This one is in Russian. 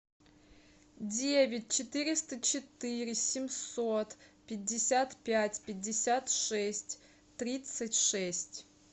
девять четыреста четыре семьсот пятьдесят пять пятьдесят шесть тридцать шесть